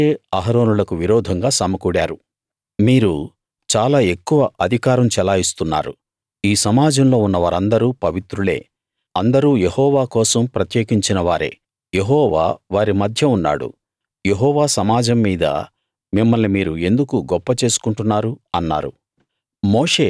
మోషే అహరోనులకు విరోధంగా సమకూడారు మీరు చాలా ఎక్కువ అధికారం చలాయిస్తున్నారు ఈ సమాజంలో ఉన్న వారిందరూ పవిత్రులే అందరూ యెహోవా కోసం ప్రత్యేకించిన వారే యెహోవా వారి మధ్య ఉన్నాడు యెహోవా సమాజం మీద మిమ్మల్ని మీరు ఎందుకు గొప్ప చేసుకుంటున్నారు అన్నారు